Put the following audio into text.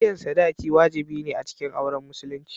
Biyan sadaki wajibi ne a cikin auren Musulunci.